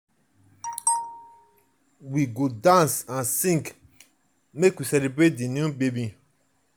we we go dance and sing make we celebrate di new baby.